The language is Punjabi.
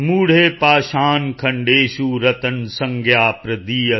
ਮੂਢੈ ਪਾਸ਼ਾਣ ਖੰਡੇਸ਼ੁ ਰਤਨਸੰਗਿਆ ਪ੍ਰਦੀਯਤੇ